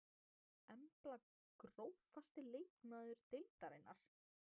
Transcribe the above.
Embla Grófasti leikmaður deildarinnar?